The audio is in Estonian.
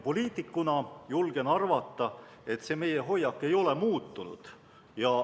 Poliitikuna julgen arvata, et see meie hoiak ei ole muutunud.